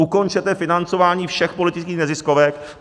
Ukončete financování všech politických neziskovek.